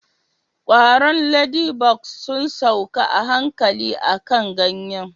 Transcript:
kwaron ladybugs sun sauka a hankali akan ganye